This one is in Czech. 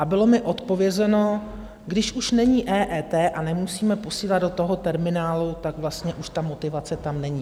A bylo mi odpovězeno - když už není EET a nemusíme posílat do toho terminálu, tak vlastně už ta motivace tam není.